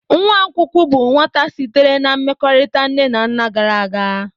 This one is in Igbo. Nwa nkwụkwụ bụ nwata sitere na mmekọrịta nne na nna gara aga.